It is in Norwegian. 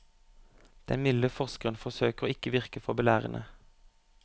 Den milde forskeren forsøker å ikke virke for belærende.